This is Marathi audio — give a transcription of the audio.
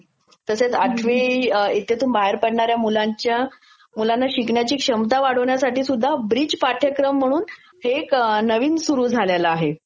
तसेच आठवी इयत्तेतून बाहेर पडणाऱ्या मुलांच्या, मुलांना शिकण्याची क्षमता वाढविण्यासाठी सुध्दा ब्रीच पाठ्याक्रम म्हणून हे एक नवीन सुरू झालेलं आहे